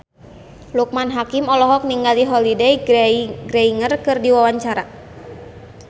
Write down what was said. Loekman Hakim olohok ningali Holliday Grainger keur diwawancara